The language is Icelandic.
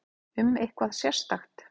Um eitthvað sérstakt?